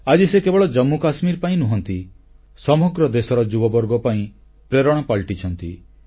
ଆଜି ସେ କେବଳ ଜାମ୍ମୁ ଓ କାଶ୍ମୀର ପାଇଁ ନୁହନ୍ତି ସମଗ୍ର ଦେଶର ଯୁବବର୍ଗ ପାଇଁ ପ୍ରେରଣା ପାଲଟିଛନ୍ତି